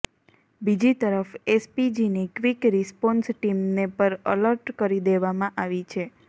બીજી તરફ એસપીજીની ક્વિક રિસ્પોન્સ ટીમને પર એલર્ટ કરી દેવામાં આવી છે